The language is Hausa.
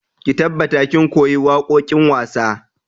Ki tabbata kin koyi waƙoƙin wasa!